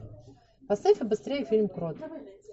поставь побыстрее фильм крот